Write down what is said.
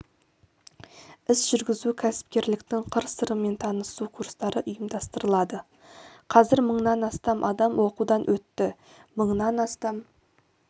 іс жүргізу кәсіпкерліктің қыр-сырымен танысу курстары ұйымдастырылады қазір мыңнан астам адам оқудан өтті мыңнан астам